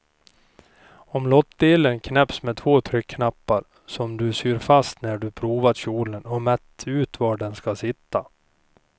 Omlottdelen knäpps med två tryckknappar som du syr fast när du provat kjolen och mätt ut var de ska sitta.